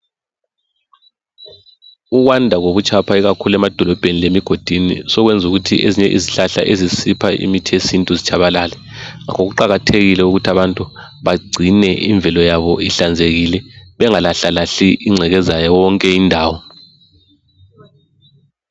Ukwanda kobutshapha ikakhulu emadolobheni lemigodini sokwenza ukuthi izihlahla ezisipha imithi yesintu zitshabalale. Ngakho kuqakathekile ukuthi abantu bagcine imvelo yabo ihlanzekile, bengalahlalahli ingcekeza yonke indawo.